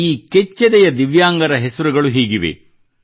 ಈ ಕೆಚ್ಚೆದೆಯ ದಿವ್ಯಾಂಗರ ಹೆಸರುಗಳು ಹೀಗಿವೆ